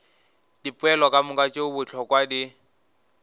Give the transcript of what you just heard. dipoelo kamoka tše bohlokwa di